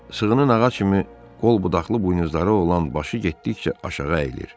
Sığının ağac kimi qol budaqlı buynuzları olan başı getdikcə aşağı əyilir.